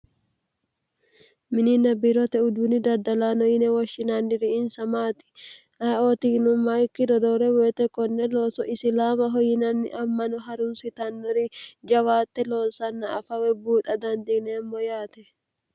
minina birote uduni daddalaano yine woshshinanniri insa maati ayiootino mayikki dodoore woyite konne looso isilaamaho yinanni ammano harunsitannori jawaatte loonsanna afawe buuxa dandiineemmo yaate